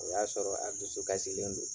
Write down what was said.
O y'a sɔrɔ a dusu kasilen don.